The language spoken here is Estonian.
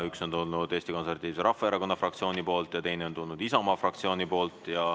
Üks on tulnud Eesti Konservatiivse Rahvaerakonna fraktsioonilt ja teine on tulnud Isamaa fraktsioonilt.